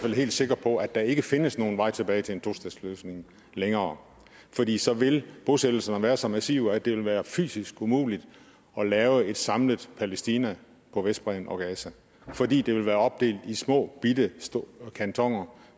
fald helt sikre på at der ikke findes nogen vej tilbage til en tostatsløsning længere fordi så vil bosættelserne være så massive at det vil være fysisk umuligt at lave et samlet palæstina på vestbredden og gaza fordi det vil være opdelt i småbitte kantoner